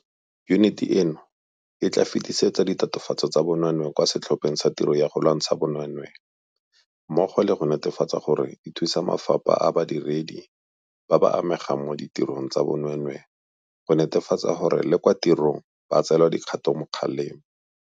Yuniti eno e tla fetisetsa ditatofatso tsa bonweenwee kwa Setlhopheng sa Tiro ya go Lwantsha Bonweenwee mmogo le go netefatsa gore e thusa mafapha a badiredi ba ba amegang mo ditirong tsa bonweenwee go netefatsa gore le kwa tirong ba tseelwa dikgatokgalemo.